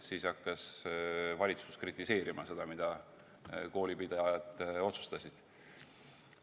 Siis hakkas valitsus kritiseerima seda, mida koolipidajad otsustasid.